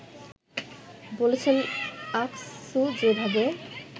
বলেছেন, আকসু যেভাবে